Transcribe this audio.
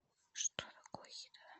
что такое еда